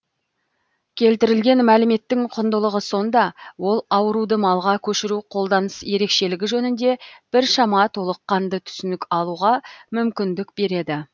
келтірілген мәліметтің құндылығы сонда ол ауруды малға көшіру қолданыс ерекшелігі жөнінде біршама толыққанды түсінік алуға мүмкіндік береді